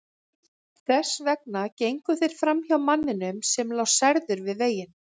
Þess vegna gengu þeir framhjá manninum sem lá særður við veginn.